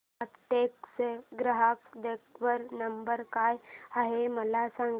Aptech चा ग्राहक देखभाल नंबर काय आहे मला सांग